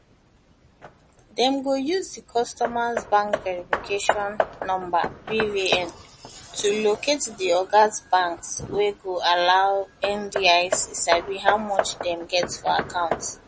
dem go use di customers bank verification number bvn to locate locate di oda banks wey go allow ndic sabi how much dem get for account